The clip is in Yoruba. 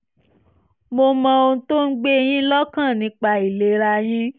mo mọ ohun tó ń gbé e yín lọ́kàn nípa ìlera yín